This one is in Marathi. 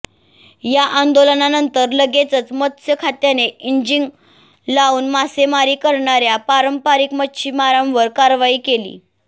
या आंदोलनानंतर लगेचच मत्स्य खात्याने इंजिन लावून मासेमारी करणाऱया पारंपरिक मच्छीमारांवर कारवाई केली